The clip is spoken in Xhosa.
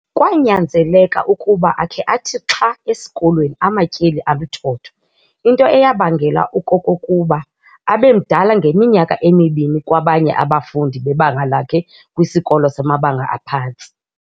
Kwanyanzeleka ukuba akhe athi xha esikolweni amatyeli aluthotho, into eyabangela ukokokuba abemdala ngeminyaka emibini kwabanye abafundi bebanga lakhe kwisikolo samabanga aphantsi.